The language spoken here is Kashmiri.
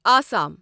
آسام